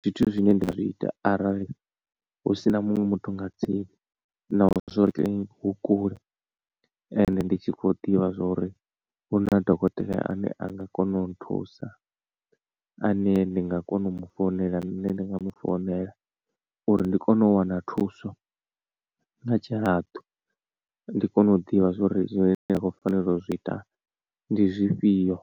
zwithu zwine nda nga zwi ita arali husina muṅwe muthu nga tsini na ho hu kule ende ndi tshi kho ḓivha zwori hu na dokotela ane anga kona u nthusa a ne ndi nga kona u mu founela nṋe ndi nga mu founela uri ndi kone u wana thuso nga tshihaḓu ndi kone u ḓivha zwa uri zwine ndi khou fanela u zwi ita ndi zwifhio.